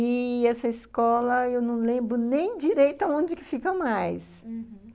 E essa escola, eu não lembro nem direito aonde que fica mais, uhum.